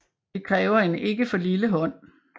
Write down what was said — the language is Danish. Det kræver en ikke for lille hånd